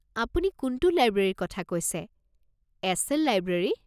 আপুনি কোনটো লাইব্ৰেৰীৰ কথা কৈছে, এছ.এল. লাইব্ৰেৰী?